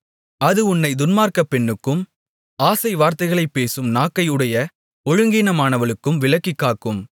அது உன்னைத் துன்மார்க்கப் பெண்ணுக்கும் ஆசை வார்த்தைகளைப் பேசும் நாக்கை உடைய ஒழுங்கீனமானவளுக்கும் விலக்கிக் காக்கும்